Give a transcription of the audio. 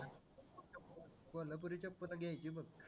कोल्हापुरी चप्पल घ्यायची बघ